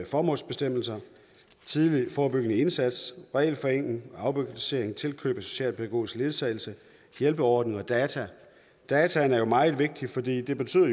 formålsbestemmelser tidlig forebyggende indsats regelforenkling afbureaukratisering tilkøb af socialpædagogisk ledsagelse hjælpeordning og data dataene er jo meget vigtige fordi det betyder